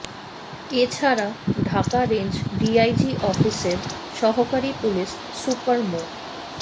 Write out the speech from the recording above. এ ছাড়া Dhaka range DIG অফিসের সহকারি পুলিশ সুপার মো